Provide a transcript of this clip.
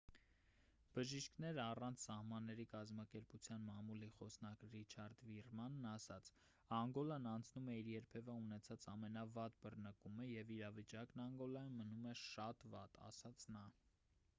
«բժիշկներ առանց սահմանների» կազմակերպության մամուլի խոսնակ ռիչարդ վիրմանն ասաց. «անգոլան անցնում է իր երբևէ ունեցած ամենավատ բռնկումը և իրավիճակն անգոլայում մնում է շատ վատ»,- ասաց նա: